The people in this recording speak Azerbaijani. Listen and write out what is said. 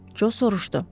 Co soruşdu.